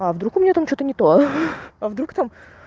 а вдруг у меня там что-то не то а вдруг там